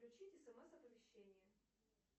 включить смс оповещение